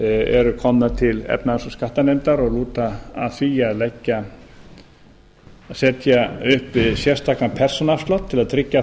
eru komnar til efnahags og skattanefndar og lúta að því að setja upp sérstakan persónuafslátt til að tryggja